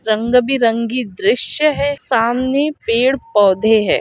''रंग बिरंगी दृश्य है'''' सामने पेड़ पौधे है ।''